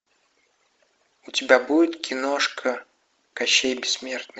у тебя будет киношка кощей бессмертный